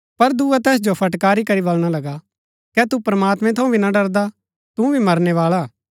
पर दुआ तैस जो फटकारी करी बलणा लगा कै तू प्रमात्मैं थऊँ भी ना डरदा तू भी मरनै बाळा